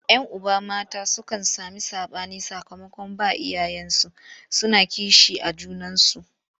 Yan uba mata sukan sami saɓani sakamakon ba iyayensu suna kishi a junansu.